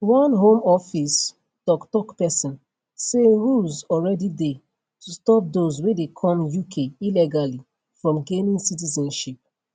one home office toktok pesin say rules already dey to stop dose wey dey come uk illegally from gaining citizenship